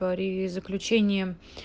при заключении